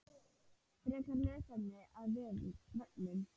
Frekara lesefni af vefnum